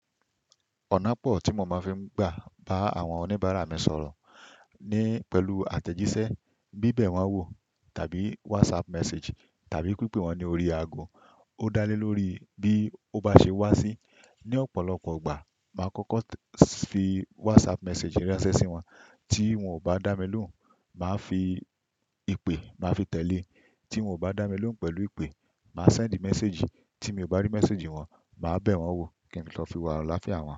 Ọ̀nà pọ̀ tí mo máa ń fi gbà bá àwọn oníbàárà mi sọ̀rọ̀ ni pẹ̀lú àtẹ̀jíṣẹ́, bíbẹ̀ wọ́n wò tàbí WhatsApp message tàbí pípè wọ́n ní orí ago. Ó dá lé lórí bí ó bá ṣe wá sí. Ni ọ̀pọ̀lọpọ̀ igbà, màá kọ́kọ́ fi WhatsApp message ránsẹ́ sí wọn. Tí wọ́n ò bá dá mi lóhùn, màá fi ipè, màá fi tẹ̀lé. Tí wọ́n ò bá dá mi lóhùn pẹ̀lú ipè, màá send message. Tí mi ò bá rí message wọ́n, màá bẹ̀ wọ́n wò kí n tó fi wo àláfíà wọn.